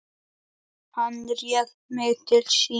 Hann réði mig til sín.